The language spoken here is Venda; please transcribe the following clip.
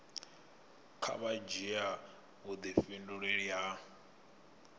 kha vha dzhia vhudifhinduleli ha